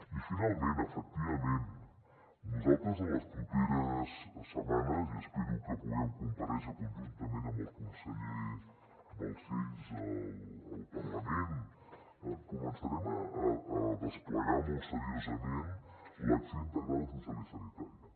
i finalment efectivament nosaltres en les properes setmanes i espero que puguem comparèixer conjuntament amb el conseller balcells al parlament començarem a desplegar molt seriosament l’acció integrada social i sanitària